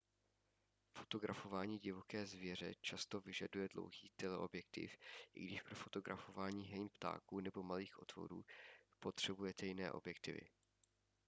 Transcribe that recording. fotografování divoké zvěře často vyžaduje dlouhý teleobjektiv i když pro fotografování hejn ptáků nebo malých tvorů potřebujete jiné objektivy